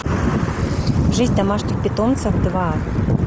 жизнь домашних питомцев два